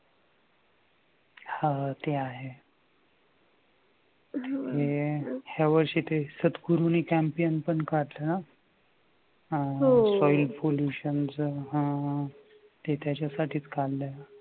हा ते आहे यावर्षी ते सद्गुरूनी champion पण काढलं ना soil pollution च हा ते त्याच्यासाठीच काढलय.